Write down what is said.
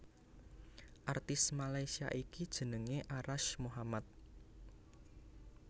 Artis Malaysia iki jenengé Arash Muhammad